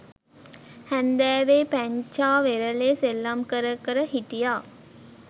හැන්දෑවෙ පැංචා වෙරළෙ සෙල්ලම් කර කර හිටියා